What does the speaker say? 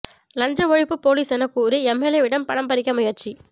லஞ்ச ஒழிப்புப் போலிஸ் எனக் கூறி எம்எல்ஏவிடம் பணம் பறிக்க முயற்சி